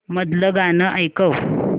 मधलं गाणं ऐकव